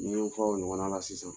Ni ye fɔ o ɲɔgɔnna na sisan